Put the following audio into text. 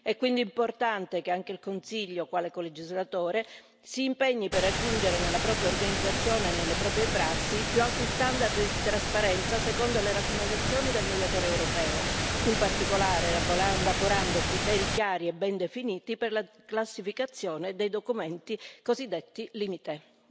È quindi importante che anche il Consiglio, quale colegislatore, si impegni per raggiungere nella propria organizzazione e nelle proprie prassi i più alti standard di trasparenza, secondo le raccomandazioni del Mediatore europeo, in particolare elaborando criteri chiari e ben definiti per la classificazione dei documenti cosiddetti LIMITE.